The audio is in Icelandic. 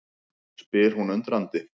spyr hún undrandi.